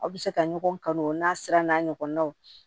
Aw bɛ se ka ɲɔgɔn kan o n'a sira n'a ɲɔgɔnnaw